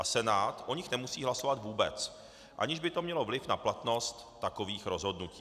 A Senát o nich nemusí hlasovat vůbec, aniž by to mělo vliv na platnost takových rozhodnutí.